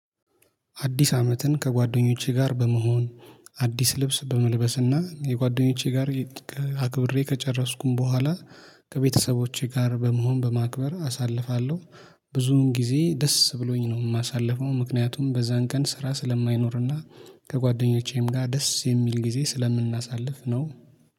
አዲስ አመትን ከጓደኞቼ ጋር በመሆን አዲስ ልብስ በመልበስና የጓደኞቼ ጋር አክብሬ ከጨረስኩኝ በኋላ ከቤተሰቦቼ ጋር በመሆን በማክበር አሳልፋለሁ። ብዙን ጊዜ ደስ ብሎኝ ነው የማሳልፈው ምክንያቱም በዛን ቀን ስራ ስለማይኖርና ከጓደኞቼም ጋር ደስ የሚል ጊዜ ስለምናሳልፍ ነው